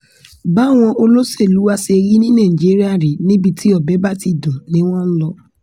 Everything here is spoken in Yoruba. báwọn olóṣèlú wá ṣe rí ní nàìjíríà rèé níbi tí ọbẹ̀ bá ti dùn ni wọ́n ń lọ